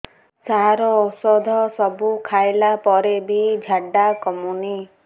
ସାର ଔଷଧ ସବୁ ଖାଇଲା ପରେ ବି ଝାଡା କମୁନି